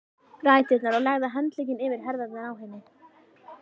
ræturnar og lagði handlegginn yfir herðarnar á henni.